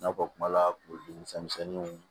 I n'a fɔ kuma la kurudi misɛnninw